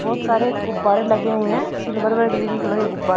बहुत सारे गुब्बारें लगे हुए है सिल्वर व ग्रीन कलर के गुब्बारे --